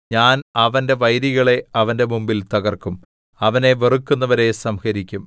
ഞാൻ അവന്റെ വൈരികളെ അവന്റെ മുമ്പിൽ തകർക്കും അവനെ വെറുക്കുന്നവരെ സംഹരിക്കും